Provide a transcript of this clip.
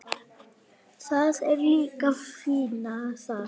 Það er líka fínna þar.